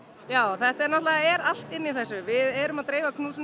já það náttúrulega er allt inni í þessu við erum að dreifa